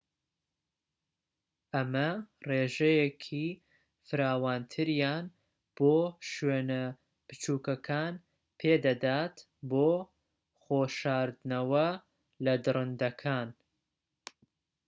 ئەمە ڕێژەیەکی فراوانتریان بۆ شوێنە بچووكەکان پێدەدات بۆ خۆ شاردنەوە لە دڕندەکان